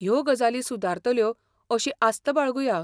ह्यो गजाली सुदारतल्यो अशी आस्त बाळगुया.